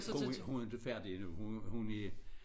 Hun hun er ikke færdig endnu hun hun er